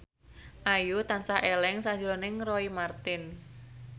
Ayu tansah eling sakjroning Roy Marten